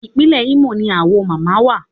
Ìpínlẹ̀ Imo ni Awo mama wà.